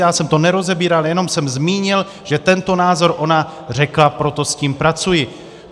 Já jsem to nerozebíral, jenom jsem zmínil, že tento názor ona řekla, proto s tím pracuji.